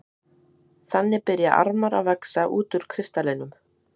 Þannig byrja armar að vaxa út úr kristallinum.